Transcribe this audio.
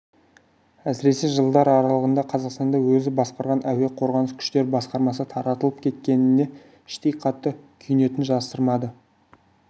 әсіресе жылдар аралығында қазақстанда өзі басқарған әуе қорғаныс күштері басқармасы таратылып кеткеніне іштей қатты күйінетінін жасырмады